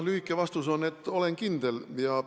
Lühike vastus on, et jah, olen kindel.